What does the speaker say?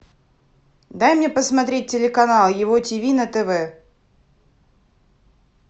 дай мне посмотреть телеканал его тиви на тв